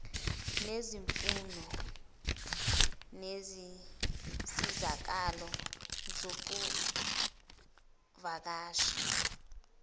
nezimfuno zezinsizakalo zokuvakasha